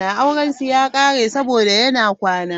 Aurensu ya kare saboda yana kwana.